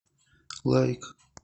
лайк